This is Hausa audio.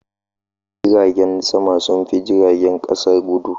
Jiragen sama sun fi jiragen kasa guɗu.